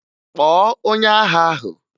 Kpọọ onye agha ahụ!